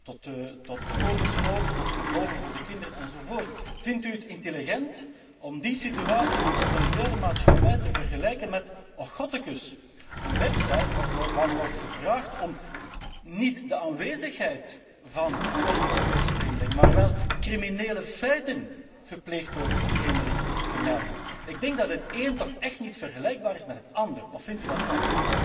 tot inkomensroof, tot gevolgen voor de kinderen enz. Vindt u het intelligent om die situatie in een totalitaire maatschappij te vergelijken met, ochgottekes, een website waarop wordt gevraagd om niet de aanwezigheid van Oost Europese vreemdelingen, maar wel criminele feiten gepleegd door vreemdelingen, te melden? Ik denk dat het een toch echt niet vergelijkbaar is met het ander, of vindt u van wel?